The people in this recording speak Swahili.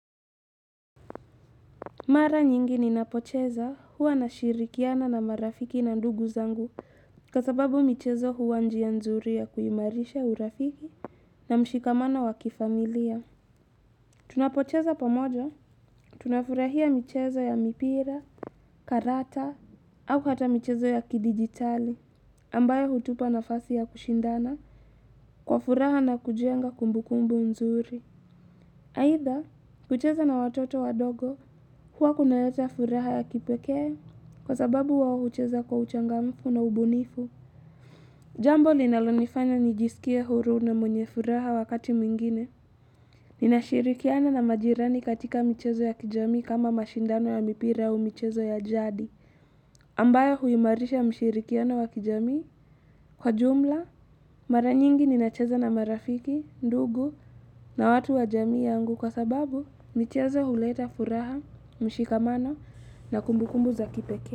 Mara nyingi ni napocheza huwa nashirikiana na marafiki na ndugu zangu Kwa sababu michezo huwa njia nzuri ya kuimarisha urafiki na mshikamano wa kifamilia Tunapocheza pamoja, tunafurahia michezo ya mipira, karata au hata michezo ya kidigitali ambayo hutupa nafasi ya kushindana kwa furaha na kujenga kumbukumbu nzuri aidha, kucheza na watoto wadogo huwa kunaleta furaha ya kipekee, kwa sababu wao hucheza kwa uchangamfu na ubunifu. Jambo linalonifanya nijisikie huru na mwenye furaha wakati mwingine ninashirikiana na majirani katika michezo ya kijamii kama mashindano ya mipira au michezo ya jadi ambayo huimarisha mshirikiana wa kijamii Kwa jumla, mara nyingi ninacheza na marafiki, ndugu na watu wa jamii yangu kwa sababu michezo huleta furaha, mshikamano na kumbukumbu za kipekee.